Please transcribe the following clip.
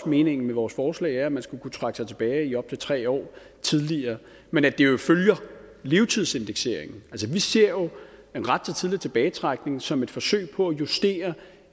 meningen med vores forslag at man skal kunne trække sig tilbage i op til tre år tidligere men at det jo følger levetidsindekseringen altså vi ser jo en ret til tidligere tilbagetrækning som et forsøg på at justere